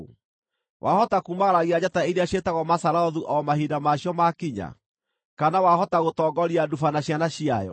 Wahota kuumagaragia njata iria ciĩtagwo Mazarothu o mahinda maacio maakinya, kana wahota gũtongoria Nduba na ciana ciayo?